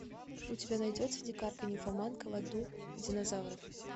у тебя найдется дикарка нимфоманка в аду динозавров